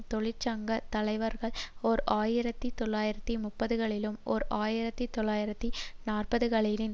தொழிற்சங்க தலைவார்கள் ஓர் ஆயிரத்தி தொள்ளாயிரத்து முப்பதுகளிலும் ஓர் ஆயிரத்தி தொள்ளாயிரத்து நாற்பதுகளின்